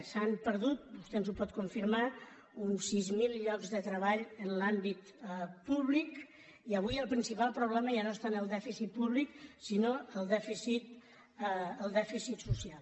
s’han perdut vostè ens ho pot confirmar uns sis mil llocs de treball en l’àmbit públic i avui el principal problema ja no és tant el dèficit públic sinó el dèficit social